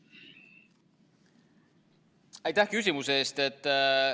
Aitäh küsimuse eest!